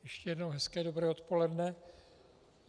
Ještě jednou hezké dobré odpoledne.